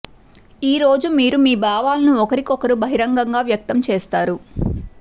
ఈ రోజు మీరు మీ భావాలను ఒకరికొకరు బహిరంగంగా వ్యక్తం చేస్తారు